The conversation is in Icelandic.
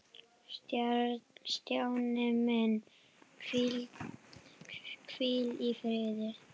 Stjáni minn, hvíl í friði.